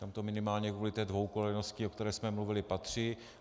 Tam to minimálně kvůli té dvoukolejnosti, o které jsme mluvili, patří.